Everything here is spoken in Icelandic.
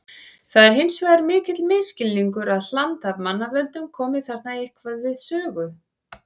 Það er hins vegar mikill misskilningur að hland af mannavöldum komi þarna eitthvað við sögu.